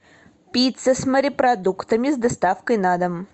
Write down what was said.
пицца с морепродуктами с доставкой на дом